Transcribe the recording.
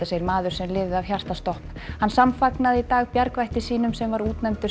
segir maður sem lifði af hjartastopp hann í dag bjargvætti sínum sem var útnefndur